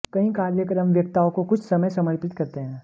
कई कार्यक्रम वक्ताओं को कुछ समय समर्पित करते हैं